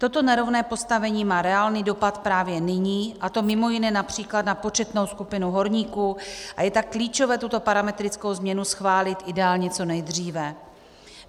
Toto nerovné postavení má reálný dopad právě nyní, a to mimo jiné například na početnou skupinu horníků, a je tak klíčové tuto parametrickou změnu schválit ideálně co nejdříve.